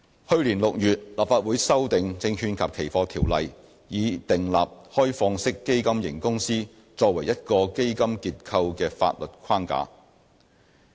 去年6月，立法會修訂《證券及期貨條例》，以訂立開放式基金型公司作為一個基金結構的法律框架。